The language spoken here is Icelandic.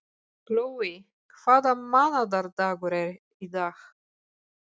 Glói, hvaða mánaðardagur er í dag?